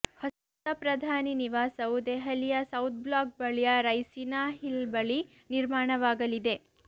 ಹೊಸ ಪ್ರಧಾನಿ ನಿವಾಸವು ದೆಹಲಿಯ ಸೌಥ್ ಬ್ಲಾಕ್ ಬಳಿಯ ರೈಸಿನಾ ಹಿಲ್ ಬಳಿ ನಿರ್ಮಾಣವಾಗಲಿದೆ